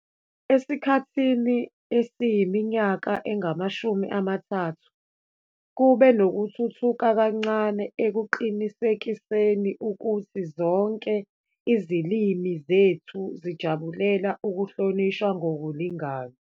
Esikhathini esiyiminyaka engama-30, kube nokuthuthuka kancane ekuqinisekiseni ukuthi zonke izilimi zethu zijabulela ukuhlonishwa ngokulingana.